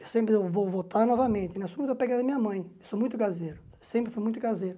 Eu sempre vou voltar novamente, eu sou muito apegado a minha mãe, sou muito caseiro, sempre fui muito caseiro.